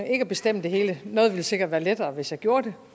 ikke at bestemme det hele noget ville sikkert være lettere hvis jeg gjorde det